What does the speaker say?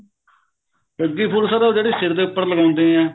ਸੱਗੀ ਫੁੱਲ sir ਉਹ ਜਿਹੜੇ ਸਿਰ ਦੇ ਉੱਪਰ ਲਗਾਉਂਦੇ ਏਂ